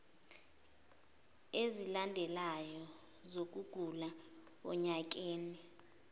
ezilandelanayo zokugula onyakeni